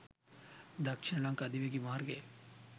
දක්ෂිණ ලංකා අධිවේගී මාර්ගයේ